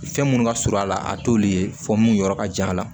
Fɛn minnu ka surun a la a t'olu ye fɔ mun yɔrɔ ka jan a la